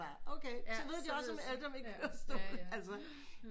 Okay så ved de også alt om en kørestol altså